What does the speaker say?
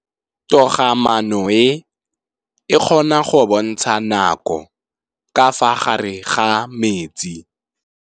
Toga-maanô e, e kgona go bontsha nakô ka fa gare ga metsi.